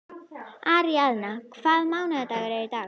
Aríaðna, hvaða mánaðardagur er í dag?